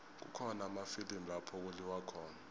kukhona amafilimu lapho kuliwa khona